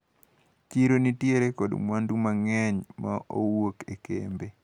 Chiro ni nitiere kod mwandu mang`eny mowuok e kembe.